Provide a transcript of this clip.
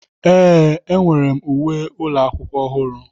Ee, enwere m uwe ụlọ akwụkwọ ọhụrụ.